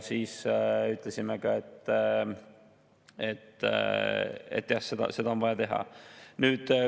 Me ütlesime ka, et seda on vaja teha.